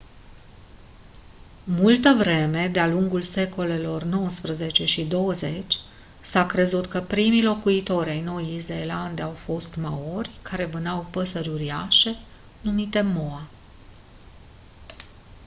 multă vreme de-a lungul secolelor nouăsprezece și douăzeci s-a crezut că primii locuitori ai noii zeelande au fost maori care vânau păsări uriașe numite moa